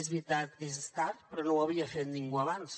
és veritat que és tard però no ho havia fet ningú abans